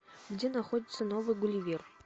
где находится новый гулливер